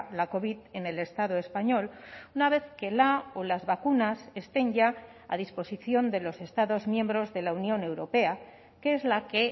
la covid en el estado español una vez que la o las vacunas estén ya a disposición de los estados miembros de la unión europea que es la que